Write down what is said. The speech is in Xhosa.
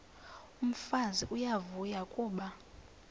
umfazi uyavuya kuba